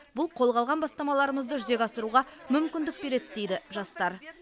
бұл қолға алған бастамаларымызды жүзеге асыруға мүмкіндік береді дейді жастар